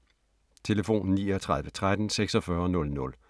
Telefon: 39 13 46 00